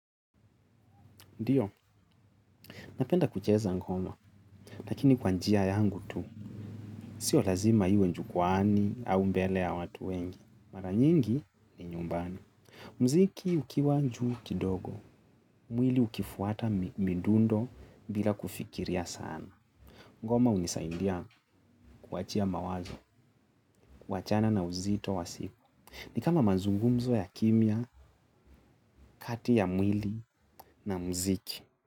Ndiyo, napenda kucheza ngoma, lakini kwa njia yangu tu, sio lazima iwe jukwani au mbele ya watu wengi, mara nyingi ni nyumbani. Mziki ukiwa juu kidogo, mwili ukifuata midundo bila kufikiria sana. Ngoma hunisaidia kuachia mawazo, kuachana na uzito wa siku. Ni kama mazungumzo ya kimya, kati ya mwili na mziki.